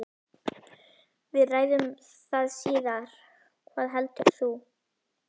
Við ræðum það síðar, hvað heldur þú?